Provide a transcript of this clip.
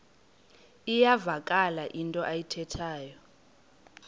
iyavakala into ayithethayo